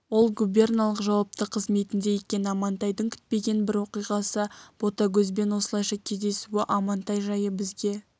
ол губерналық жауапты қызметінде екен амантайдың күтпеген бір оқиғасы ботагөзбен осылайша кездесуі амантай жайы бізге